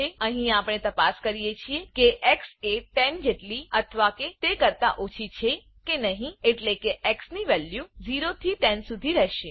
અહી આપણે તપાસ કરીએ છીએ કે એક્સ એ 10 જેટલી અથવા એ કરતા ઓછી કે નહી એટલે કે એક્સ ની વેલ્યુ 0 થી 10સુધી રહેશે